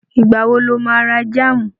Ìgbà wo lo má ra jáàmù?